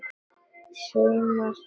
Saumar þú?